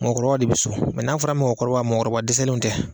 Mɔgɔkɔrɔba de bɛ so, mɛ n'a fɔra mɔgɔkɔrɔba, mɔgɔkɔrɔba dɛsɛnnew tɛ.